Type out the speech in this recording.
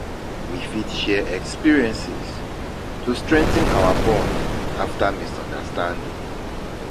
We fit share experiences to strengthen our bond after misunderstanding.